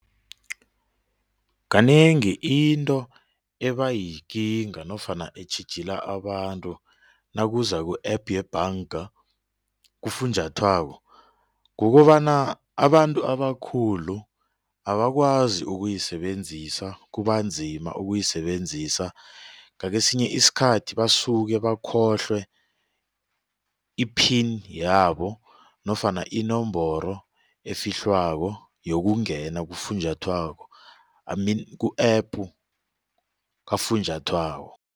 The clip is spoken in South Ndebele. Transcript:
Kanengi into ebayikinga nofana etjhijila abantu nakuza ku-APP yebhanga kufunjathwako kukobana abantu abakhulu abakwazi ukuyisebenzisa kubanzima ukuyisebenzisa ngakesinye isikhathi basuke bakhohlwe i-PIN yabo nofana inomboro efihlwako yokungena kufunjathwako I mean ku-APP kafunjathwako.